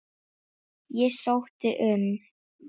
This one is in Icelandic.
Ég sótti um.